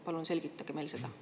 Palun selgitage meile seda!